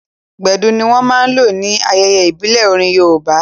Gbedu ní wọ́n máa n lò ní ayẹyẹ ìbílẹ̀ orin yoòbá